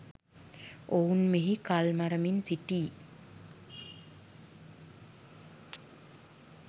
ඔවුන් මෙහි කල්මරමින් සිටී